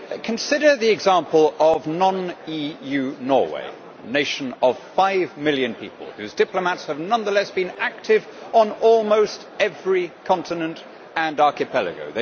Consider the example of non EU Norway, a nation of five million people, whose diplomats have nonetheless been active on almost every continent and archipelago.